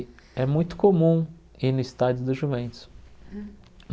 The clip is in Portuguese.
É muito comum ir no estádio do Juventus.